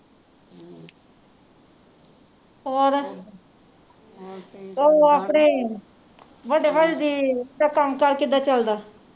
ਹੋਰ ਉਹ ਆਪਣੇ ਵੱਡੇ ਭਾਜੀ ਦੀ ਦਾ ਕੰਮ ਕਾਰ ਕਿੱਦਾਂ ਚਲਦਾ